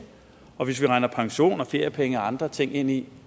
og hvis vi regner pension og feriepenge og andre ting ind i